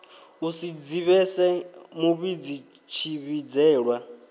u si dzivhise muvhidzi tshivhidzelwa